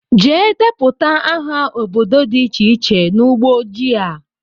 Jee deputa aha ọbọdọ dị iche iche n'ugbó ojii a!!!!